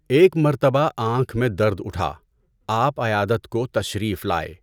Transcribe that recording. ایک مرتبہ آنکھ میں درد اٹھا، آپ عیادت کو تشریف لائے۔